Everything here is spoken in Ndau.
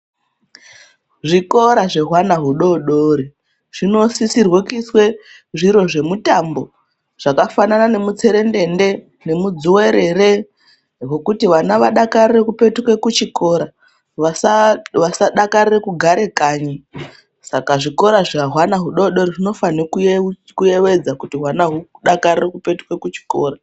Zvikora zvehwana hudodori zvinosisirwe kuiswe zviro zvemutambo zvakafanana nemutserendende nemudzuwerere hokuti vana vadakarire kupetuke kuchikora vasadakarire kugare kanyi saka zvikora zvehwana hudodori zvinofanekuyevedza kuti hwana hudakarire kupetuke kuchikora.